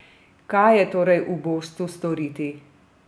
Kaj je torej ubožcu storiti?